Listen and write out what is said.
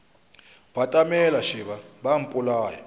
batamela šeba ba a mpolaya